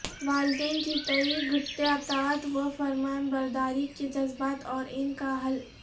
والدین کے تئیں گھٹتے اطاعت و فرمانبرداری کے جذبات اور ان کا حل